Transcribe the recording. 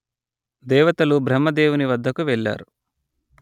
దేవతలు బ్రహ్మదేవుని వద్దకు వెళ్ళారు